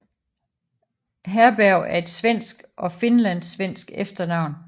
Hedberg er et svensk og finlandssvensk efternavn